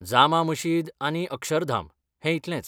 जामा मशीद आनी अक्षरधाम, हें इतलेंच.